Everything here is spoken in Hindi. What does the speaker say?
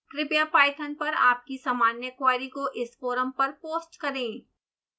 कृपया पाइथन पर आपकी सामान्य क्वेरी को इस फोरम पर पोस्ट करें